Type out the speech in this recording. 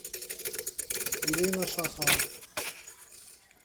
ирина шахова